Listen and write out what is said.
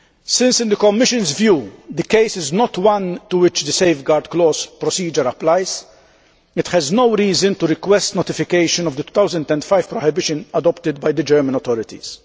Since, in the Commission's view, the case is not one to which the safeguard clause procedure applies, it has no reason to request notification of the 2005 prohibition adopted by the German authorities.